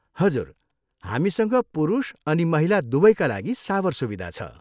हजुर, हामीसँग पुरुष अनि महिला दुवैका लागि सावर सुविधा छ।